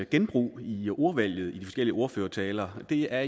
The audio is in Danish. genbrug i ordvalget i de forskellige ordførertaler det er